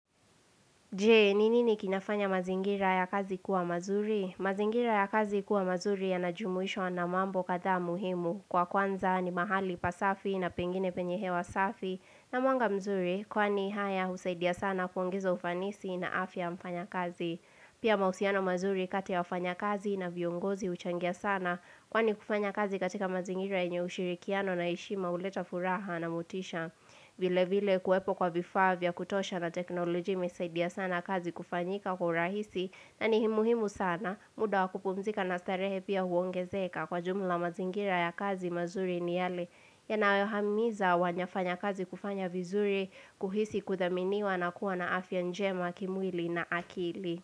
Jee, ni nini kinafanya mazingira ya kazi kuwa mazuri? Mazingira ya kazi kuwa mazuri ya najumuishwa na mambo kadhaa muhimu. Kwa kwanza ni mahali pasafi na pengine penye hewa safi na mwanga mzuri. Kwani haya husaidia sana kuongeza ufanisi na afya ya mfanya kazi. Pia mahusiano mazuri kati ya wafanya kazi na viongozi huchangia sana. Kwani kufanya kazi katika mazingira yenye ushirikiano na heshima huleta furaha na motisha. Vile vile kuwepo kwa vifaa vya kutosha na teknolojia imesaidia sana kazi kufanyika kwa rahisi na ni hi muhimu sana muda wa kupumzika na starehe pia huongezeka kwa jumla mazingira ya kazi mazuri ni yale yanayohamiza wanyafanya kazi kufanya vizuri kuhisi kuthaminiwa na kuwa na afya njema kimwili na akili.